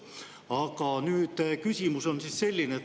Aga küsimus on selline.